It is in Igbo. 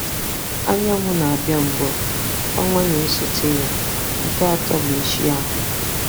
Anyanwụ na-abịa mbụ, ọnwa na-esote ya, nke atọ bụ ichi ahụ.